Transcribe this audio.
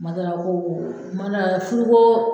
M'a d'a la ko , m'a d'a la furu ko